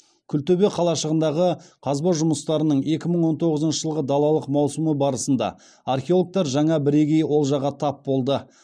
күлтөбе қалашығындағы қазба жұмыстарының екі мың он тоғызыншы жылғы далалық маусымы барысында археологтар жаңа бірегей олжаға тап болды